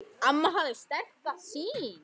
Amma hafði sterka sýn.